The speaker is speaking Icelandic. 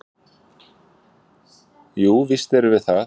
"""Jú, víst erum við það."""